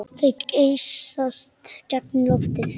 Þeir geysast gegnum loftið.